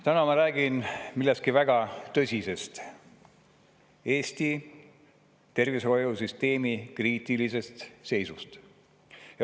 Täna ma räägin millestki väga tõsisest: Eesti tervishoiusüsteemi kriitilisest seisust.